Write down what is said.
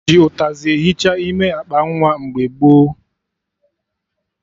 E ji ụtazị ehicha ime akpa nwa mgbe gboo